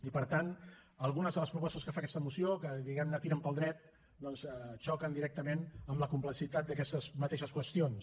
i per tant algunes de les propostes que fa aquesta moció que diguem ne tiren pel dret doncs xoquen directament amb la complexitat d’aquestes mateixes qüestions